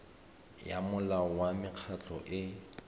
ya molao wa mekgatlho e